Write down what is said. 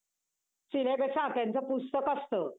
syllabus हा त्यांचं पुस्तक असतं.